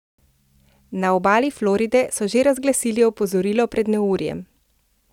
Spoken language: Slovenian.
Na obali Floride so že razglasili opozorilo pred neurjem.